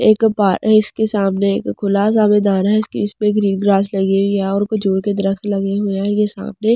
एक पार है इसके सामने एक खुला सा मैदान है जिसकी उसमें ग्रीन ग्रास लगी हुई है और कुछ दूर के दृश्‍य लगे हुए इनके सामने --